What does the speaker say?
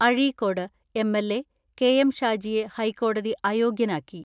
Azhikode MLA, K M ഹൈക്കോടതി അയോഗ്യനാക്കി.